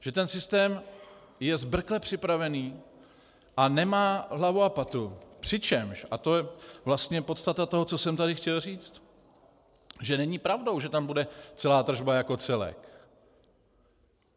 Že ten systém je zbrkle připravený a nemá hlavu a patu, přičemž, a to je vlastně podstata toho, co jsem tady chtěl říct, že není pravdou, že tam bude celá tržba jako celek.